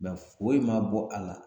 Mɛ foyi ma bɔ a la